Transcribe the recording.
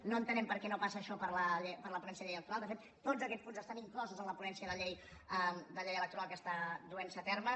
no entenem per què no passa això per la ponència de la llei electoral de fet tots aquests punts estan inclosos en la ponència de la llei electoral que està duentse a terme